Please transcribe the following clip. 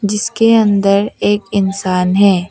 इसके अंदर एक इंसान है।